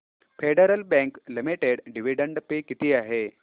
federal Bank Limited dividend pay किती आहे